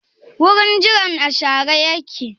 Wurin jiran a share yake?